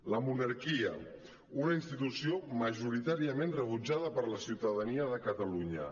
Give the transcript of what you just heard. la monarquia una institució majoritàriament rebutjada per la ciutadania de catalunya